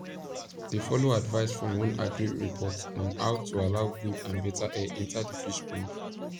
they follow advice from one agric report on how to allow good and better air enter d fish pond